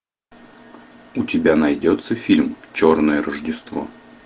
у тебя найдется фильм черное рождество